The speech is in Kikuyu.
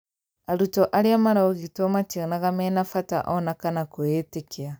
arutwo aria maraũgitwo mationaga mena bata ona kana kũĩyĩtĩkia.